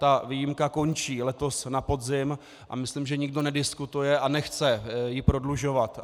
Ta výjimka končí letos na podzim a myslím, že nikdo nediskutuje a nechce ji prodlužovat.